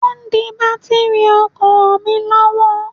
Wọ́n de bátìrì ọkọ̀ mi lọ́wọ́.